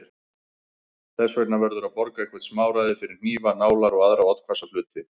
Þess vegna verður að borga eitthvert smáræði fyrir hnífa, nálar og aðra oddhvassa hluti.